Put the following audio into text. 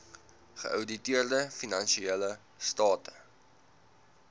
geouditeerde finansiële state